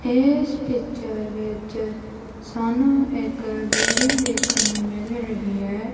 ਇਸ ਪਿੱਚਰ ਵਿੱਚ ਸਾਨੂੰ ਇੱਕ ਬਿਲਡਿੰਗ ਦੇਖਣ ਨੂੰ ਮਿਲ ਰਹੀ ਐ।